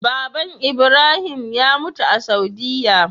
baban ibrahim ya mutu a saudiya